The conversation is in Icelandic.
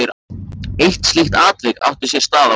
Eitt slíkt atvik átti sér stað á virkum degi.